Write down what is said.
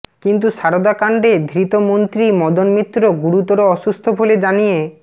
কিন্তু সারদা কাণ্ডে ধৃত মন্ত্রী মদন মিত্র গুরুতর অসুস্থ বলে জানিয়ে